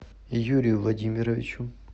юрию владимировичу